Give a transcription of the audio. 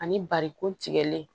Ani barikon tigɛlen